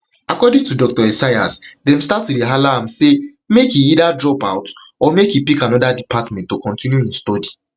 according to dr esayas dem start to dey hala hala am say make either drop out or make e pick anoda department to continue im study